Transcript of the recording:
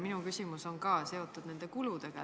Minu küsimus on ka seotud nende kuludega.